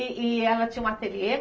E e ela tinha um ateliê?